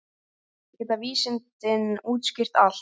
Geta vísindin útskýrt allt?